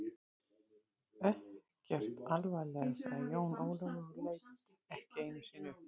Ekkert alvarlega, sagði Jón Ólafur og leit ekki einu sinni upp.